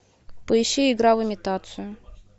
поищи игра в имитацию